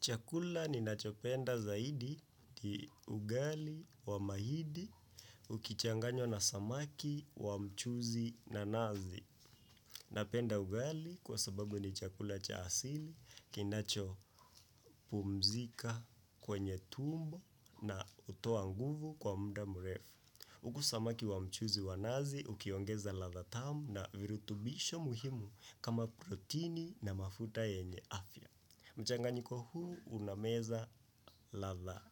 Chakula ninacho penda zaidi ni ugali wa mahidi ukichanganywa na samaki wa mchuzi na nazi. Napenda ugali kwa sababu ni chakula cha asili kinacho pumzika kwenye tumbo na hutoa nguvu kwa muda mrefu. Huku samaki wa mchuzi wa nazi ukiongeza ladha tamu na virutubisho muhimu kama protini na mafuta yenye afya. Mchanganyiko huu unameza ladha